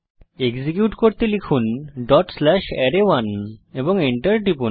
execute করতে লিখুন dot slash আরায়1 এবং enter টিপুন